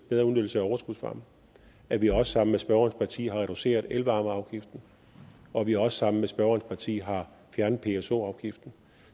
bedre udnyttelse af overskudsvarme og at vi også sammen med spørgerens parti har adresseret elvarmeafgiften og at vi også sammen med spørgerens parti har fjernet pso afgiften